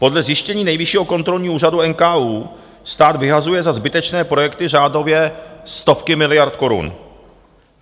Podle zjištění Nejvyššího kontrolního úřadu - NKÚ - stát vyhazuje za zbytečné projekty řádově stovky miliard korun.